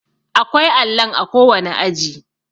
akwai allon a kowane aji